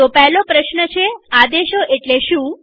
તો પહેલો પ્રશ્ન છેઆદેશો એટલે શું